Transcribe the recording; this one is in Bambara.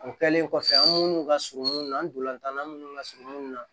O kɛlen kɔfɛ an minnu ka surun na an donna tana minnu ka surun na